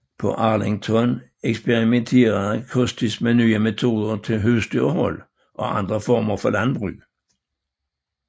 På Arlington eksperimenterede Custis med nye metoder til husdyrhold og andre former for landbrug